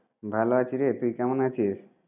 ভালো আছি রে, তুই কেমন আছিস?